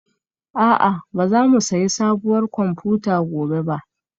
A'a ba za mu sayi sabuwar kwamfuta gobe ba